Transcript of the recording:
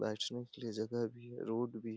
बैठने के लिए जगह भी है रोड भी --